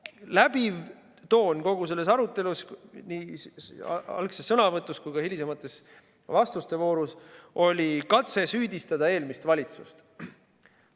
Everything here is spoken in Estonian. Läbiv toon kogu selles arutelus, nii algses sõnavõtus kui ka hilisemas vastuste voorus oli katse süüdistada eelmist valitsust.